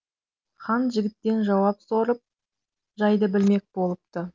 хан жігіттен жауап сорып жайды білмек болыпты